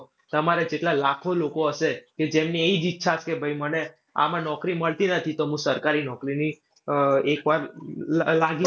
તમારે કેટલાં લાખો લોકો હશે. કે જેમની ઈ જ ઈચ્છા કે ભાઈ મને આમાં નોકરી મળતી નથી તો હું સરકારી નોકરીની આહ એક વાર લ, લ, લાગી